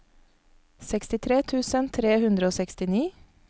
sekstitre tusen tre hundre og sekstini